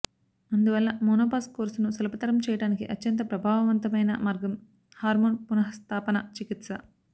అందువల్ల మెనోపాజ్ కోర్సును సులభతరం చేయడానికి అత్యంత ప్రభావవంతమైన మార్గం హార్మోన్ పునఃస్థాపన చికిత్స